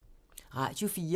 Radio 4